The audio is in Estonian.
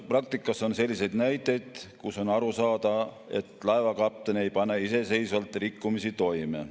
Praktikas on selliseid näiteid, kus on aru saada, et laevakapten ei pane iseseisvalt rikkumisi toime.